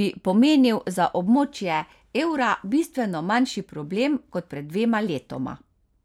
bi pomenil za območje evra bistveno manjši problem kot pred dvema letoma.